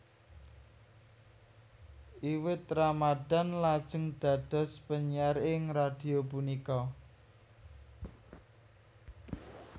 Iwet Ramadhan lajeng dados penyiar ing radhio punika